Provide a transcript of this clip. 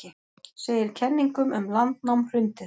Segir kenningum um landnám hrundið